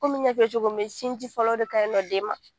Ko min y'a f'i ye cogo min, sinji fɔlɔ o de ka ɲi nɔ den ma